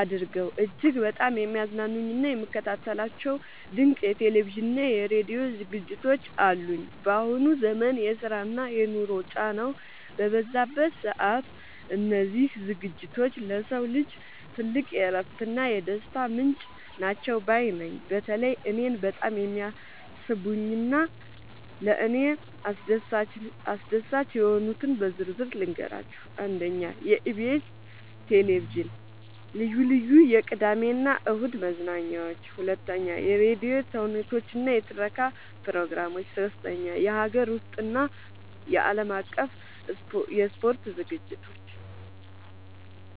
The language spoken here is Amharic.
አድርገው እጅግ በጣም የሚያዝናኑኝና የምከታተላቸው ድንቅ የቴሌቪዥንና የራዲዮ ዝግጅቶች አሉኝ! ባሁኑ ዘመን የስራና የኑሮ ጫናው በበዛበት ሰዓት፣ እነዚህ ዝግጅቶች ለሰው ልጅ ትልቅ የእረፍትና የደስታ ምንጭ ናቸው ባይ ነኝ። በተለይ እኔን በጣም የሚስቡኝንና ለእኔ አስደሳች የሆኑትን በዝርዝር ልንገራችሁ፦ 1. የኢቢኤስ (EBS TV) ልዩ ልዩ የቅዳሜና እሁድ መዝናኛዎች 2. የራዲዮ ተውኔቶችና የትረካ ፕሮግራሞች 3. የሀገር ውስጥና የዓለም አቀፍ የስፖርት ዝግጅቶች